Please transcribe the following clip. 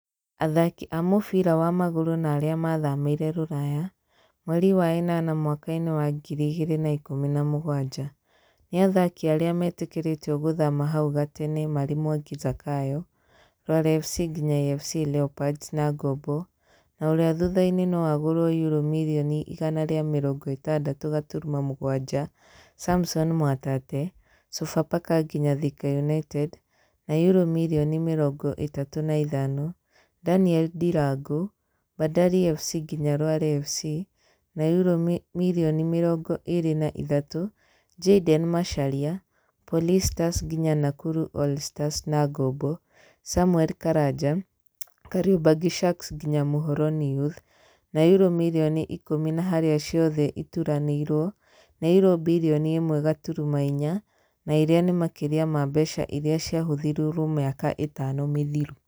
Athaki a mũbira wa magũrũ na arĩa mathamĩire Ruraya - mweri wa ĩnana mwaka-inĩ wa ngiri ĩgĩrĩ na ikũmi na mũgwanja, nĩ athaki arĩa metĩkĩrĩtio gũthama hau gatene marĩ Mwangi Zakayo [ Rware FC nginya AFC Leorpards] na ngombo, na ũrĩa thutha-inĩ no agũrwo yurũ mirioni igana rĩa mĩrongo ĩtandatũ gaturuma mũgwanja, Samson Mwatate [Sofapaka nginya Thika United] na yũrũ mirioni mĩrongo ĩtatũ na ithano, Daniel Ndirangu [Bandari FC nginya Rware FC] na yurũ mirioni mĩrongo ĩrĩ na ithatũ, Jayden Macharia [ Police Stars nginya Nakuru All Stars] na ngombo, Samue Karanja [ Kariobangi Sharks nginya Muhoroni youth] na yũrũ mirioni ikũmi na harĩa ciothe ituranĩirwo nĩ yurũ mbirioni ĩmwe gaturuma inya, na irĩa nĩ makĩria ma mbeca irĩa cĩahũthĩrĩtwo mĩaka ĩtano mĩthiru